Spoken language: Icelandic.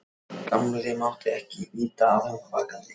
Gamli mátti ekki vita að hún var vakandi.